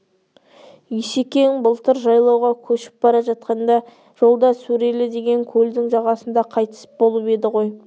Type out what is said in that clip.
есекең былтыр жайлауға көшіп бара жатқанда жолда сөрелі деген көлдің жағасында қайтыс болып еді ғой